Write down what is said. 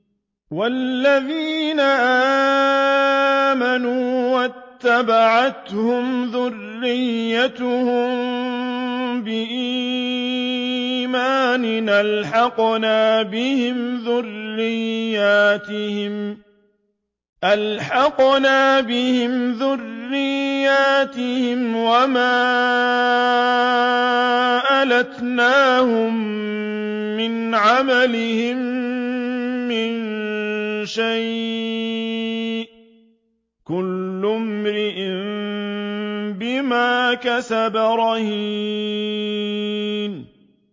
وَالَّذِينَ آمَنُوا وَاتَّبَعَتْهُمْ ذُرِّيَّتُهُم بِإِيمَانٍ أَلْحَقْنَا بِهِمْ ذُرِّيَّتَهُمْ وَمَا أَلَتْنَاهُم مِّنْ عَمَلِهِم مِّن شَيْءٍ ۚ كُلُّ امْرِئٍ بِمَا كَسَبَ رَهِينٌ